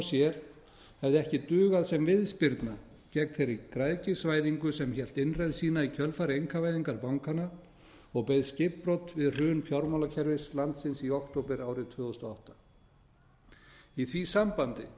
sér hefði ekki dugað sem viðspyrna gegn þeirri græðgisvæðingu sem hélt innreið sína í kjölfar einkavæðingar bankanna og beið skipbrot við hrun fjármálakerfis landsins í október árið tvö þúsund og átta í því sambandi